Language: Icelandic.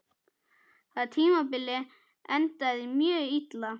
Það tímabil endaði mjög illa.